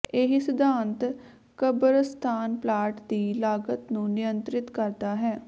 ਇਹੀ ਸਿਧਾਂਤ ਕਬਰਸਤਾਨ ਪਲਾਟ ਦੀ ਲਾਗਤ ਨੂੰ ਨਿਯੰਤ੍ਰਿਤ ਕਰਦਾ ਹੈ